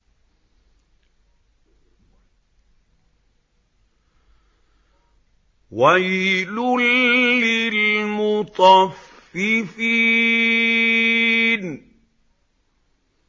وَيْلٌ لِّلْمُطَفِّفِينَ